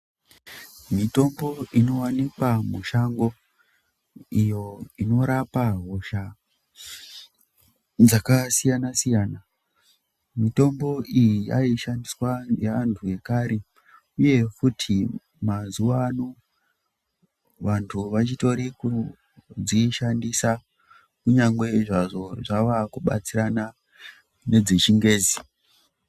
Mitombo inowanikwa mushango iyo inorapa hosha dzakasiyana-siyana. Mitombo iyi yaishandiswa ngeantu ekare, uye futi mazuwano vantu vachitori kudzishandisa, kunyangwe zvazvo zvava kubatsirana nedzeChiNgezi.